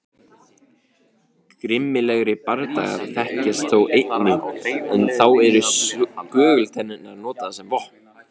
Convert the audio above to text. Grimmilegri bardagar þekkjast þó einnig en þá eru skögultennurnar notaðar sem vopn.